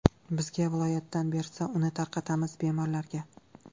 Bizga viloyatdan bersa, uni tarqatamiz bemorlarga.